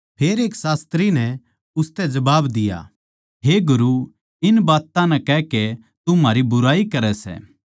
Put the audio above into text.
फेर एक शास्त्री नै उसतै जबाब दिया हे गुरू इन बात्तां नै कहकै तू म्हारी बुराई करै सै